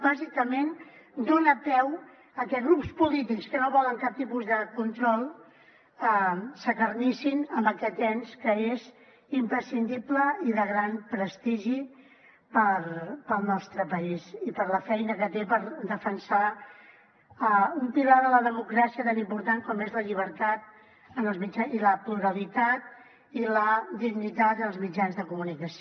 bàsicament dona peu a que grups polítics que no volen cap tipus de control s’acarnissin amb aquest ens que és imprescindible i de gran prestigi per al nostre país i per la feina que té per defensar un pilar de la democràcia tan important com són la llibertat i la pluralitat i la dignitat als mitjans de comunicació